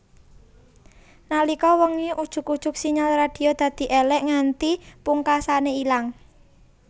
Nalika wengi ujug ujug sinyal radio dadi èlèk nganti pungkasané ilang